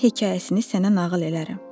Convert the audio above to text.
Bunun hekayəsini sənə nağıl eləyərəm.